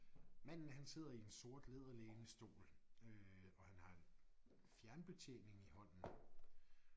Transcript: Manden han sidder i en sort læderlænestol øh og han har en fjernbetjening i hånden